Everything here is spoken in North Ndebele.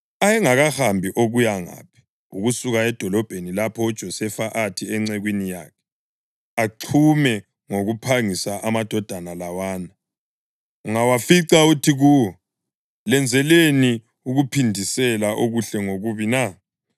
Ayengakahambi okuya ngaphi ukusuka edolobheni lapho uJosefa athi encekwini yakhe, “Axhume ngokuphangisa amadoda lawana, ungawafica uthi kuwo, ‘Lenzeleni ukuphindisela okuhle ngokubi na?